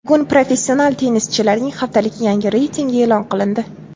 Bugun professional tennischilarning haftalik yangi reytingi e’lon qilindi.